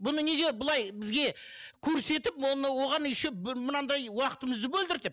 бұны неге бұлай бізге көрсетіп оны оған еще мынандай уақытымызды бөлдіртіп